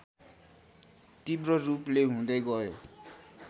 तिब्ररूपले हुँदै गयो